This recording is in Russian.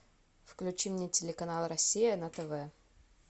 включи мне телеканал россия на тв